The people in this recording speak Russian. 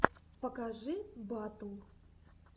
покажи батл